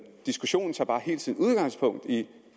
diskussionen tager bare hele tiden udgangspunkt i